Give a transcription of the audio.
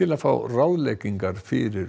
að fá ráðleggingar fyrir